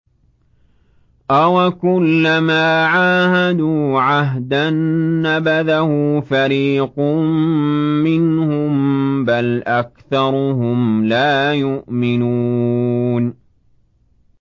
أَوَكُلَّمَا عَاهَدُوا عَهْدًا نَّبَذَهُ فَرِيقٌ مِّنْهُم ۚ بَلْ أَكْثَرُهُمْ لَا يُؤْمِنُونَ